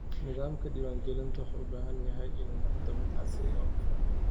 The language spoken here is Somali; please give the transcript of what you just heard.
Nidaamka diiwaangelintu wuxuu u baahan yahay inuu noqdo mid casri ah oo hufan.